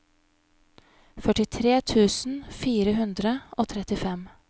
førtitre tusen fire hundre og trettifem